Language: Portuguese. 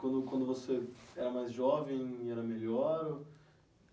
Quando você era mais jovem, era melhor?